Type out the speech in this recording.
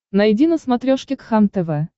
найди на смотрешке кхлм тв